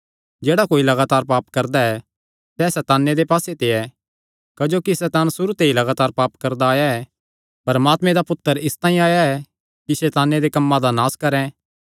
जेह्ड़ा कोई लगातार पाप करदा ऐ सैह़ सैताने दे पास्से ते ऐ क्जोकि सैतान सुरू ते ई लगातार पाप करदा आया ऐ परमात्मे दा पुत्तर इसतांई आया ऐ कि सैताने दे कम्मां दा नास करैं